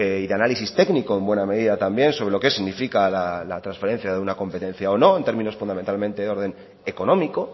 y de análisis técnico en buena medida también sobre lo qué significa la transferencia de una competencia o no en términos fundamentalmente de orden económico